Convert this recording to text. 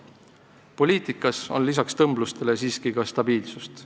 Nendes poliitikates on peale tõmbluste siiski ka stabiilsust.